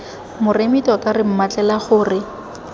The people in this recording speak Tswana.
moremi tota re mmatlela gore